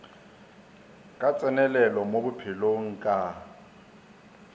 ka tsenelelo mo bophelong ka